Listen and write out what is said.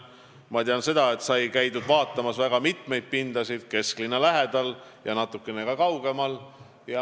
Ma tean, et sai käidud vaatamas väga mitmeid pindu kesklinna lähedal ja natukene ka kaugemal.